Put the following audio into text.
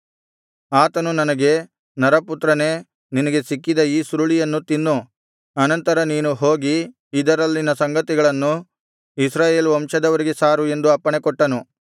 ಆತನು ನನಗೆ ನರಪುತ್ರನೇ ನಿನಗೆ ಸಿಕ್ಕಿದ ಈ ಸುರುಳಿಯನ್ನು ತಿನ್ನು ಅನಂತರ ನೀನು ಹೋಗಿ ಇದರಲ್ಲಿನ ಸಂಗತಿಗಳನ್ನು ಇಸ್ರಾಯೇಲ್ ವಂಶದವರಿಗೆ ಸಾರು ಎಂದು ಅಪ್ಪಣೆಕೊಟ್ಟನು